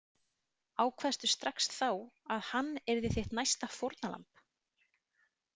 Ákvaðstu strax þá að hann yrði þitt næsta fórnarlamb?